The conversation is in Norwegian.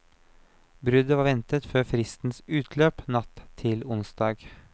Bruddet var ventet før fristens utløp natt til onsdag.